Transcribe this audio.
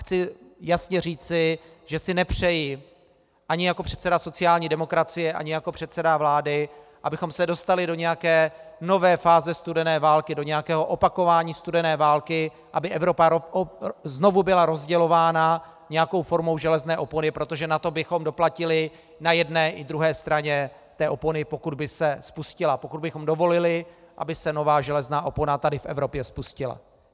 Chci jasně říci, že si nepřeji ani jako předseda sociální demokracie ani jako předseda vlády, abychom se dostali do nějaké nové fáze studené války, do nějakého opakování studené války, aby Evropa znovu byla rozdělována nějakou formou železné opony, protože na to bychom doplatili na jedné i druhé straně té opony, pokud by se spustila, pokud bychom dovolili, aby se nová železná opona tady v Evropě spustila.